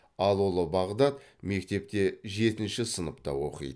ал ұлы бағдат мектепте жетінші сыныпта оқиды